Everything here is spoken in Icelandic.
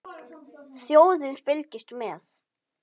Þjóðin fylgist með.